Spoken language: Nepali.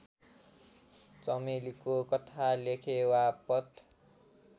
चमेलीको कथा लेखेवापत